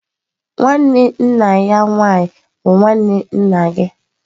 Nwanne nna ya nwaanyị bụ nwanne nna gị.